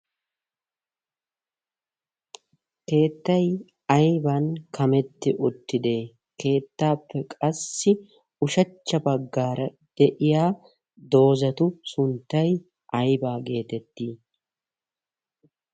keettay ayban kametti uttidee keettaappe qassi ushachcha baggaara de'iya doozatu sunttay aybaa geetetti ?